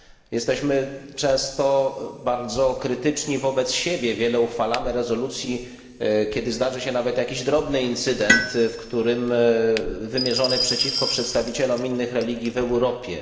Jesteśmy często bardzo krytyczni wobec siebie, wiele uchwalamy rezolucji, kiedy zdarzy się nawet jakiś drobny incydent wymierzony przeciwko przedstawicielom innych religii w Europie.